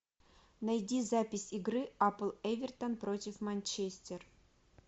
найди запись игры апл эвертон против манчестер